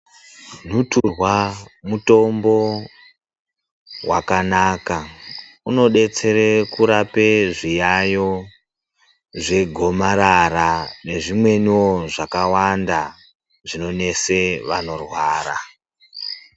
Nhuturwa mutombo wakanaka. Unodetsere kurape zviyayo zvegomarara nezvimweniwo zvakawanda zvinonesa vanorwara.